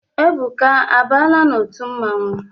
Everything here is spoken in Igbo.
Ebuka abaala n'otu mmanwụ?